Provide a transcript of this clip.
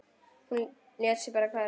Hún lét sig bara hverfa.